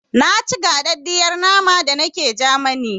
Na ci gaɗaɗiyar nama da nake Jamani